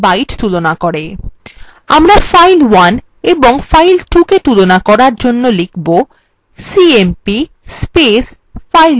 আমরা file1 এবং file2 cmp তুলনা করার জন্য লিখব cmp file1 file2